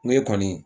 Ŋo e kɔni